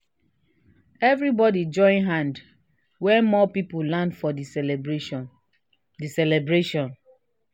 everybody join hand when more people land for the celebration. the celebration.